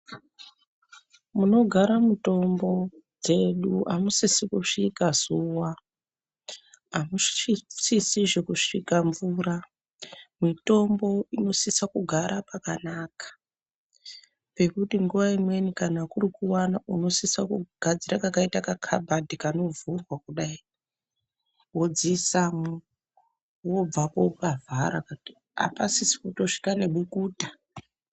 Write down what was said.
Munogara mutombo dzedu amusisi kusvika zuwa, amusisizve kusvika mvura, mitombo inosisa kugara pakanaka, pekuti nguwa imweni kana kuri kuwana unosisa kugadzira kakayita kakabhadhi kanovhurwa kudayi, wodziisamwo, wobvapo wopavhara apasisi kutosvika nebukuta.